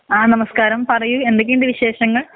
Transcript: സ്‌ നമസ്കാരം പറയ് എന്തൊക്കെയുണ്ട് വിശേഷങ്ങൾ